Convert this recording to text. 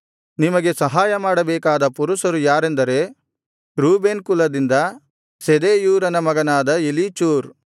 ನಿಮಗೆ ಸಹಾಯಮಾಡಬೇಕಾದ ಪುರುಷರು ಯಾರಾರೆಂದರೆ ರೂಬೇನ್ ಕುಲದಿಂದ ಶೆದೇಯೂರನ ಮಗನಾದ ಎಲೀಚೂರ್